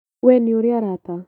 We nĩũrĩ arata?